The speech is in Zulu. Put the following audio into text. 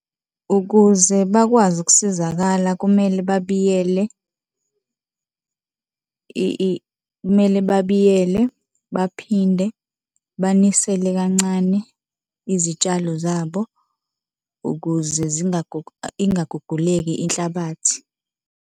Ukuze bakwazi ukusizakala kumele babiyele, kumele babiyele baphinde banisele kancane izitshalo zabo ukuze ingaguguleki inhlabathi.